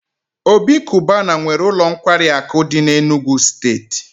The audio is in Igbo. Obi cubana nwee ulo nkwari aku di n'Enugwu steeti